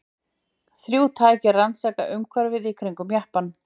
Þrjú tæki rannsaka umhverfið í kringum jeppann.